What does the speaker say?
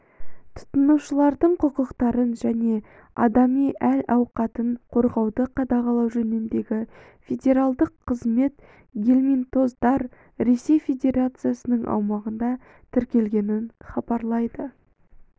тұтынушылардың құқықтарын және адами әл-ауқатын қорғауды қадағалау жөніндегі федералдық қызметі гельминтоздар ресей федерациясының аумағында тіркелегенін хабарлайды